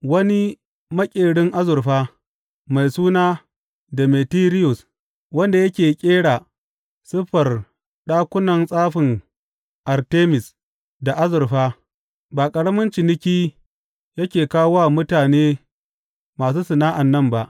Wani maƙerin azurfa, mai suna Demetiriyus wanda yake ƙera siffar ɗakunan tsafin Artemis da azurfa, ba ƙaramin ciniki yake kawo wa mutane masu sana’an nan ba.